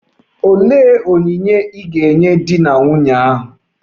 Olee onyinye ị ga-enye di na nwunye ahụ?